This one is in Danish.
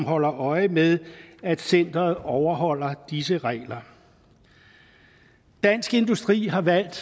holdt øje med at centeret overholder disse regler dansk industri har valgt